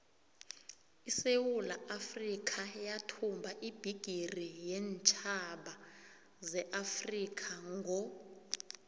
isewula afrikha yathumba ibhigiri yeentjhaba zeafrikha ngo